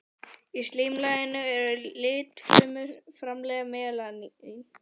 Í slímlaginu eru litfrumur sem framleiða melanín.